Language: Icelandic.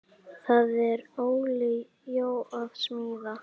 Er Óli Jó að smíða?